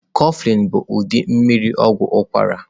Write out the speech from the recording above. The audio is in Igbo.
Kofflin bu udị mmiri ogwu ukwara.